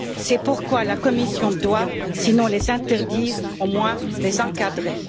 C'est pourquoi la Commission doit, sinon les interdire, au moins les encadrer.